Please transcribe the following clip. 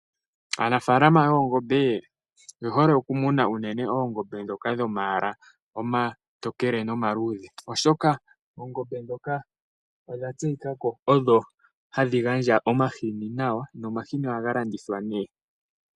Aanafaalama yoongombe oye hole okumuna unene oongombe ndhoka dhomayala omatokele nomaluudhe oshoka oongombe ndhoka odha tseyika ko odho hadhi gandja omahini nawa nomahini ohaga landithwa nee.